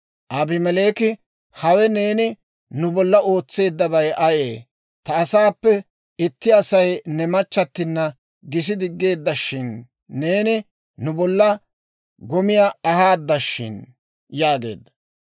Abimeleeki, «Hawe neeni nu bollan ootseeddabay ayee? Ta asaappe itti Asay ne machchattina gisi diggeeddashin; neeni nu bollan gomiyaa ahaadashin» yaageedda.